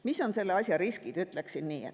Mis on selle riskid, ütleksin nii?